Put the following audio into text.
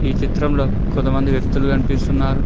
ఈ చిత్రంలో కొంతమంది వ్యక్తులు కనిపిస్తున్నారు.